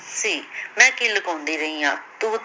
ਸੀ ਮੈ ਕੀ ਲੁਕਾਉਂਦੀ ਰਹੀ ਹਾਂ ਤੂੰ